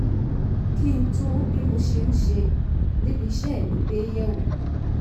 kí n tún bí mo ṣe ń ṣe níbi iṣẹ́ mi gbé yẹ̀ wò